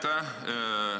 Aitäh!